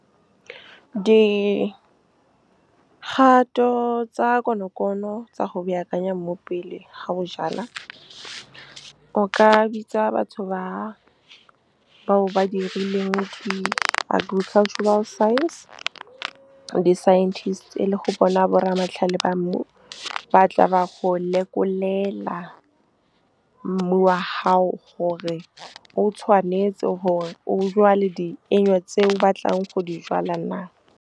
Dikgato tsa konokono tsa go baakanya mmu pele ga o jala, o ka bitsa batho bao ba dirileng di-agricultural science, di-scientist, e le go bona borra matlhale ba mmu ba tla ba go lekolela mmu wa hao gore o tshwanetse gore o jwale tse o batlang go di jwala naa. Dikgato tsa konokono tsa go baakanya mmu pele ga o jala, o ka bitsa batho bao ba dirileng di-agricultural science, di-scientist, e le go bona borra matlhale ba mmu ba tla ba go lekolela mmu wa hao gore o tshwanetse gore o jwale tse o batlang go di jwala naa.